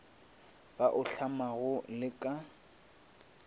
ba o hlamago le ka